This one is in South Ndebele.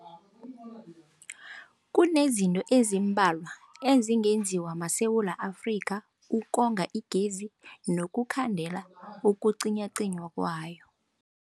Kunezinto ezimbalwa ezingenziwa maSewula Afrika ukonga igezi nokukhandela ukucinywacinywa kwayo.